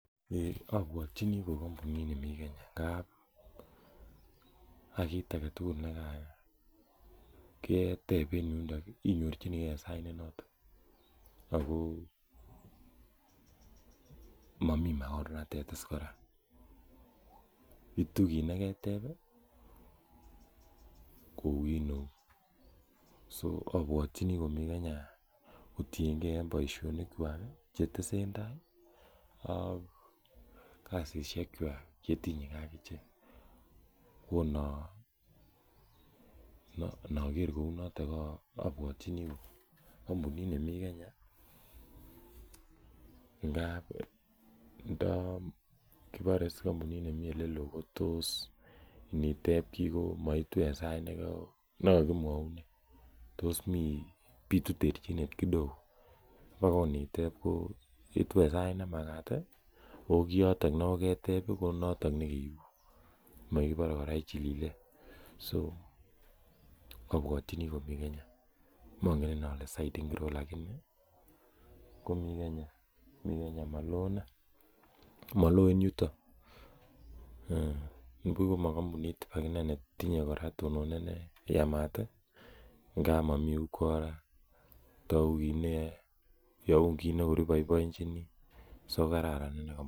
Ei obwotichi ko kompunit nemi Kenya ng'ab kit agetugul nekakiteb en yuniton ii inyorchinigen en sait nenoton ako momi makornatet is kora, itu kiit negeteb ii koukineu, so obwotini komi Kenya kotieng'en en boisionikwak chetesendai ak kasisiekwak chetinyegen ak ichek, ko inoger kounoton obwotini ko kompunit nemi Kenya ingab ndo kibore is kompunit nemi olelo kotos initeb kii kotos moitu en sait nekokimwounen, tos mi, bitu terchinet kidogo ibak ko initeb ko itu en sait nemagat i ako kioton negoketeb ii ko kioton negeibu, mokibore kora ichilile ,so obwotini komi Kenya, mongen ile ole side ingiro lagini mi Kenya, maloo inei, maloo en yuton nibuch ibak ko makompunit ibak netinye tononet neyamat ii ng'ab momi ukora togu kineyoe, youn kiit nekor iboiboenjini so kararan inei kompunit.